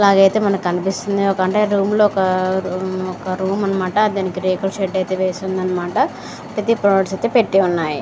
నాకనిపిస్తుంది మనకి ఒక రూమ్ ఇలాగైతే మనకి కనిపిస్తుంది.